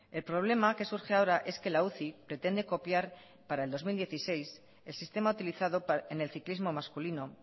el problema que surge ahora es que la uci pretende copiar para el dos mil dieciséis el sistema utilizado en el ciclismo masculino